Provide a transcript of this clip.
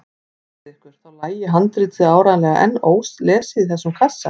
Hugsið ykkur, þá lægi handritið áreiðanlega enn ólesið í þessum kassa!